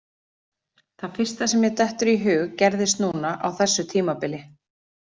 Það fyrsta sem mér dettur í hug gerðist núna á þessu tímabili.